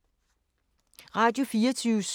Radio24syv